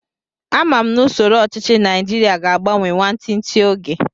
Ama m na usoro ọchichi naijiria ga agbanwe nwantinti oge